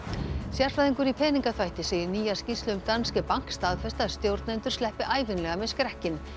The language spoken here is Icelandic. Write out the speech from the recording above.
sérfræðingur í peningaþvætti segir nýja skýrslu um Bank staðfesta að stjórnendur sleppi ævinlega með skrekkinn